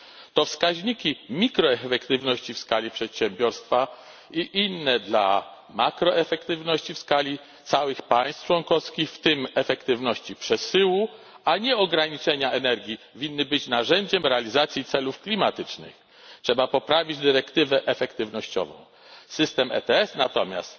To wskaźniki mikroefektywności w skali przedsiębiorstwa i inne dla makroefektywności w skali całych państw członkowskich, w tym efektywności przesyłu, a nie ograniczenia energii, winny być narzędziem realizacji celów klimatycznych. Trzeba poprawić dyrektywę efektywnościową, system ETS natomiast